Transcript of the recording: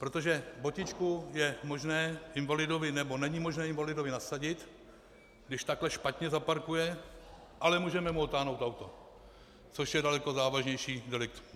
Protože botičku je možné invalidovi, nebo není možné invalidovi nasadit, když takhle špatně zaparkuje, ale můžeme mu odtáhnout auto, což je daleko závažnější delikt.